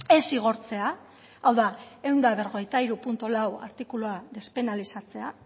ez zigortzea hau da ehun eta berrogeita hiru puntu lau artikulua despenalizatzea